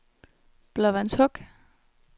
Blåvandshuk